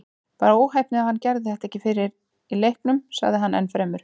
Bara óheppni að hann gerði þetta ekki fyrr í leiknum, sagði hann ennfremur.